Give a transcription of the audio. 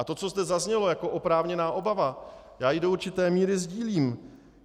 A to, co zde zaznělo jako oprávněná obava, já ji do určité míry sdílím.